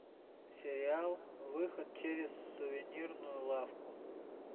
сериал выход через сувенирную лавку